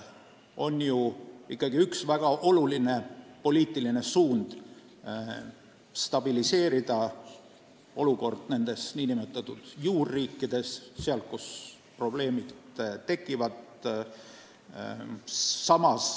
On ju ikkagi üks väga oluline poliitiline suund stabiliseerida olukord nendes nn juurriikides, seal, kus probleemid tekivad.